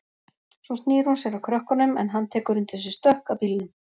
Svo snýr hún sér að krökkunum en hann tekur undir sig stökk að bílnum.